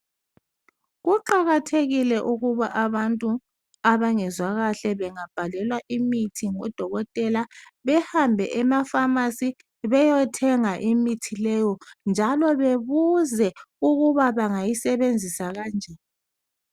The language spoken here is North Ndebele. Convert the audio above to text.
Kuqakathekile ukuba abantu abangezwa kahle bengabhalelwa imithi ngodokotela behambe emafamasi beyothenga imithi leyo njalo bebuze ukuba bangayisebenzisa kanjani.